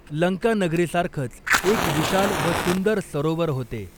लंकानगरीसारखंच एक विशाल व सुंदर सरोवर होते.